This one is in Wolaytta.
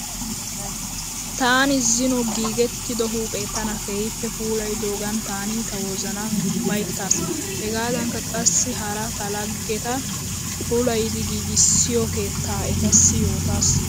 Taani zino giigettido huuphe tana keehippe puulayidoogan taani ta wozanan ufayittaas. Hegaadanikka qassi hara ta laggeta puulayidi giigissiya keettaa etassi yootaas.